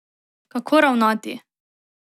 Kako ravnati?